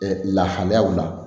lahalayaw la